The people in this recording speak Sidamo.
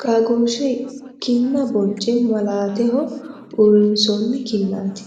qaagoosheho kinna boncce malaateho uurinsoonni kinnati.